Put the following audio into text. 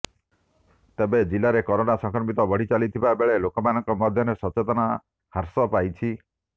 ତେବେ ଜିଲ୍ଲାରେ କରୋନା ସଂକ୍ରମଣ ବଢ଼ି ଚାଲିଥିବା ବେଳେ ଲୋକମାନଙ୍କ ମଧ୍ୟରେ ସଚେତନତା ହ୍ରାସ ପାଇଛି